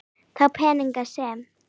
Þá peninga sem